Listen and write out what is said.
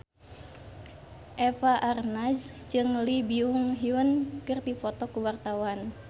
Eva Arnaz jeung Lee Byung Hun keur dipoto ku wartawan